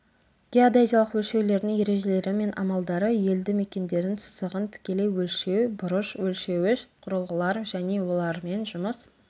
геодезиялық өлшеулердің ережелері мен амалдары елді мекендердің сызығын тікелей өлшеу бұрыш өлшеуіш құрылғылар және олармен жұмыс